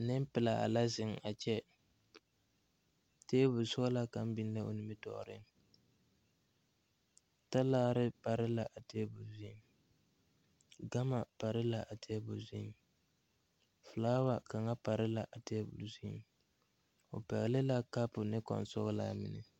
Neŋpilaa la zeŋ a kyɛ tabol sɔglaa kaŋ biŋ la o nimitooreŋ talaare pare la a tabol zuiŋ gama pare la a tabol zuiŋ flaawa kaŋa pare la a tabol zuiŋ o pɛgle la kapu ne kɔŋsɔglaa mine.